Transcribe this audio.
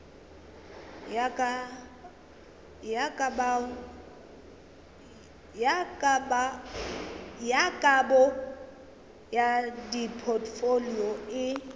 ya kabo ya dipotfolio e